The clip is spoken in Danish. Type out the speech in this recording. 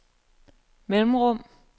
mellemrum